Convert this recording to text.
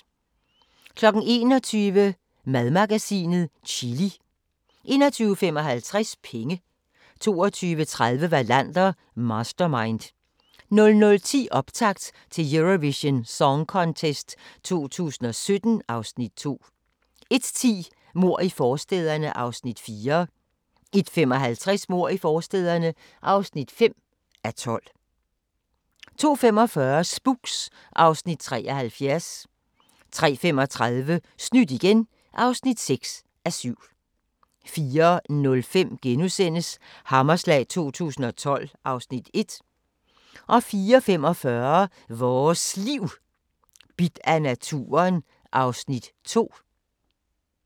21:00: Madmagasinet - chili 21:55: Penge 22:30: Wallander: Mastermind 00:10: Optakt til Eurovision Song Contest 2017 (Afs. 2) 01:10: Mord i forstæderne (4:12) 01:55: Mord i forstæderne (5:12) 02:45: Spooks (Afs. 73) 03:35: Snydt igen (6:7) 04:05: Hammerslag 2012 (Afs. 1)* 04:45: Vores Liv: Bidt af naturen (Afs. 2)